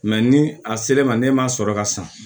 ni a ser'e ma ne ma sɔrɔ ka san